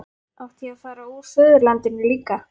Átti ég að fara úr föðurlandinu líka?